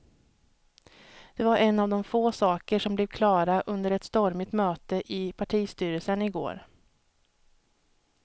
Det var en av de få saker som blev klara under ett stormigt möte i partistyrelsen i går.